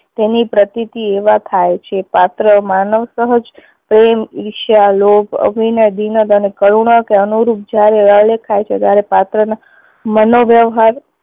તેની પ્રતિતી એમાં થાય છે. પાત્ર માનવ સહજ પ્રેમ, ઈર્ષા, લોભ, અભિનવ, દિનદ અને કરુણા કે અનુરૂપ જ્યારે આલેખાય છે ત્યારે પાત્ર ને મનો વ્યવહાર